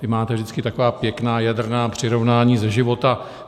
Vy máte vždycky taková pěkná jadrná přirovnání ze života.